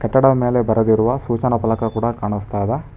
ಕಟ್ಟಡದ ಮೇಲೆ ಬರೆದಿರುವ ಸೂಚನಾ ಫಲಕ ಕೂಡ ಕಾಣುಸ್ತಾ ಇದೆ.